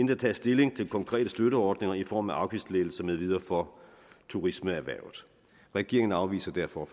der tages stilling til konkrete støtteordninger i form af afgiftslettelser med videre for turismeerhvervet regeringen afviser derfor